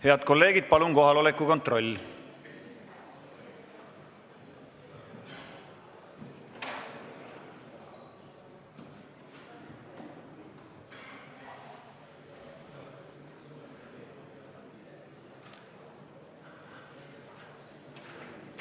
Head kolleegid, palun teeme kohaloleku kontrolli!